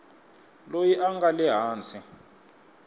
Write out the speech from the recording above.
loyi a nga le hansi